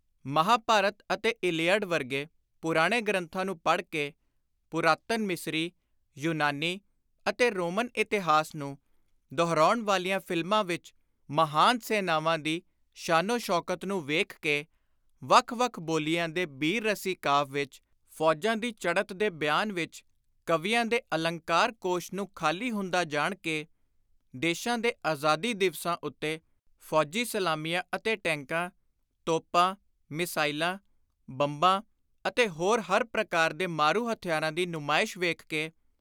ਮਹਾਂਭਾਰਤ ਅਤੇ ਇਲੀਅਡ ਵਰਗੇ ਪੁਰਾਣੇ ਗ੍ਰੰਥਾਂ ਨੂੰ ਪੜ੍ਹ ਕੇ, ਪੁਰਾਤਨ ਮਿਸਰੀ, ਯੂਨਾਨੀ ਅਤੇ ਰੋਮਨ ਇਤਿਹਾਸ ਨੂੰ ਦੁਹਰਾਉਣ ਵਾਲੀਆਂ ਫ਼ਿਲਮਾਂ ਵਿਚ ਮਹਾਨ ਸੈਨਾਵਾਂ ਦੀ ਸ਼ਾਨੋ-ਸ਼ੌਕਤ ਨੂੰ ਵੇਖ ਕੇ, ਵੱਖ ਵੱਖ ਬੋਲੀਆਂ ਦੇ ਬੀਰ-ਰਸੀ ਕਾਵਿ ਵਿਚ ਫ਼ੌਜਾਂ ਦੀ ਚੜ੍ਹਤ ਦੇ ਬਿਆਨ ਵਿਚ ਕਵੀਆਂ ਦੇ ਅਲੰਕਾਰ-ਕੋਸ਼ ਨੂੰ ਖ਼ਾਲੀ ਹੁੰਦਾ ਜਾਣ ਕੇ, ਦੇਸ਼ਾਂ ਦੇ ਆਜ਼ਾਦੀ ਦਿਵਸਾਂ ਉੱਤੇ ਫ਼ੌਜੀ ਸਲਾਮੀਆਂ ਅਤੇ ਟੈਂਕਾਂ, ਤੋਪਾਂ, ਮਿਜ਼ਾਇਲਾਂ, ਬੰਬਾਂ ਅਤੇ ਹੋਰ ਹਰ ਪ੍ਰਕਾਰ ਦੇ ਮਾਰੂ ਹਥਿਆਰਾਂ ਦੀ ਨੁਮਾਇਸ਼ ਵੇਖ ਕੇ,